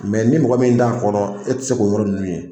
ni mɔgɔ min t'a kɔrɔ e tɛ se k'o yɔrɔ ninnu ye